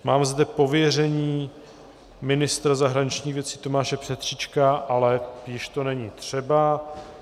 Mám zde pověření ministra zahraničních věcí Tomáše Petříčka, ale již to není třeba.